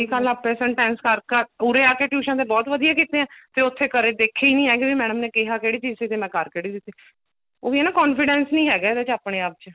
ਕੱਲ ਆਪੇ sentence ਕਰ ਕਰ ਉਰੇ ਆਕੇ tuition ਤੇ ਬਹੁਤ ਵਧੀਆ ਕੀਤੇ ਹੈ ਤੇ ਉੱਥੇ ਦੇਖੇ ਨਹੀਂ ਹੈਗੇ ਵੀ madam ਨੇ ਕਿਹਾ ਕਿਹੜੀ ਚੀਜ ਸੀ ਤੇ ਮੈਂ ਕਰ ਕਿਹੜੀ ਦਿੱਤੀ ਉਹੀ ਆ ਨਾ confidence ਨਹੀਂ ਹੈਗਾ ਇਹਦੇ ਚ ਆਪਣੇ ਆਪ ਚ